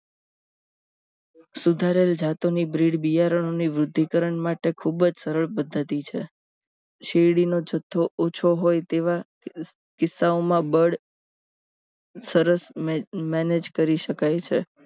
સુધારેલ જાતોની બ્રીડ બિયારણ ની વૃદ્ધિ કરણ માટે ખૂબ જ સરળ પદ્ધતિ છે શેરડીનો જથ્થો ઓછો હોય તેવા કિસ્સાઓમાં બળ સરસ manage કરી શકાય છે